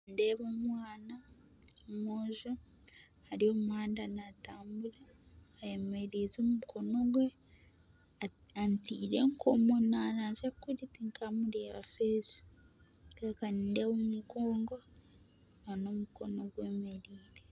Nindeeba omwana omwojo ari omu muhanda naatambura ayemereize omukono gwe anteire enkomo naaranzya kuri tinkamureeba aha maisho nindeeba omu mugongo nana omukono gwemereire